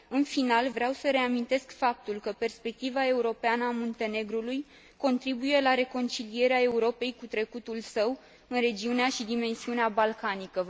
În final, vreau să reamintesc faptul că perspectiva europeană a Muntenegrului contribuie la reconcilierea Europei cu trecutul său, în regiunea și dimensiunea balcanică.